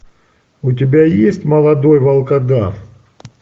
у тебя есть молодой волкодав